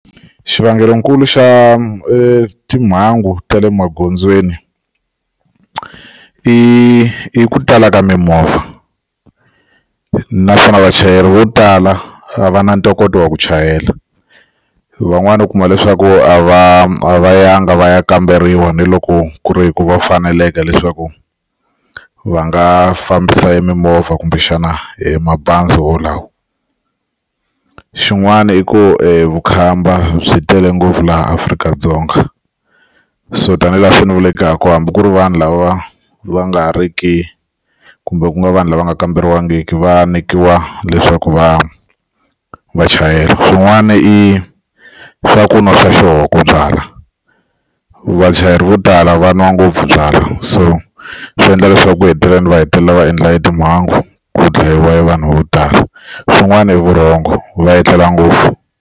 Xivangelonkulu xa e timhangu ta le magondzweni i ku tala ka mimovha naswona vachayeri vo tala a va na ntokoto wa ku chayela van'wani u kuma leswaku a va a va yanga va ya kamberiwa ni loko ku ri ku va faneleke leswaku va nga fambisa emimovha kumbexana hi mabazi wolawo xin'wana i ku evukhamba byi tele ngopfu laha Afrika-Dzonga so tanihi laha hambi ku ri vanhu lava va nga ri ki kumbe ku nga vanhu lava nga kamberiwangiki va nyikiwa leswaku vanhu vachaya swin'wana i swa ku nwa swa ku byala vachayeri vo tala va nwa ngopfu byala so swi endla leswaku ku heteleleni va hetelela va endla i timhangu ku dlayiwa vanhu vo tala swin'wana i vurhongo va etlela ngopfu.